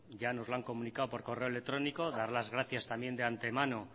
ya nos lo han comunicado por correo electrónico dar las gracias también de antemano